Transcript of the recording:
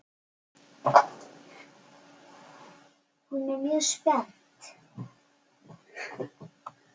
Og hún er mjög spennt.